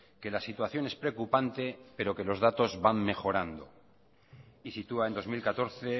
que la situación es preocupante pero que los datos van mejorando y sitúa en dos mil catorce